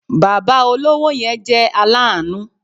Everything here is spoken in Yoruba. Bàbá olówó yẹn jẹ́ aláàánú